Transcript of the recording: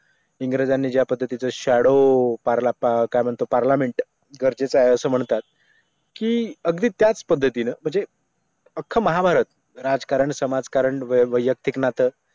इंग्रजांनी ज्या पद्धतीचं शॅडो पार्लमेंट गरजेचं आहे असं म्हणतात की अगदी त्याच पद्धतीने म्हणजे अख्खा महाभारत राजकारण समाजकारण वैयक्तिक नातं